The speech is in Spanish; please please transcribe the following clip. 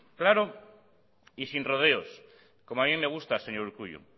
claro y sin rodeos como a mí me gusta señor urkullu